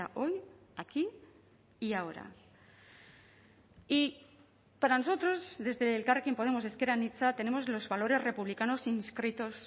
hoy aquí y ahora y para nosotros desde elkarrekin podemos ezker anitza tenemos los valores republicanos inscritos